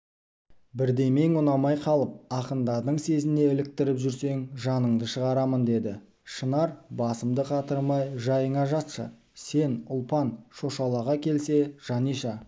бірдемең ұнамай қалып ақындардың сезіне іліктіріп жүрсең жаныңды шығарамын деді шынар басымды қатырмай жайыңа жатшы сен ұлпан шошалаға келсе жаниша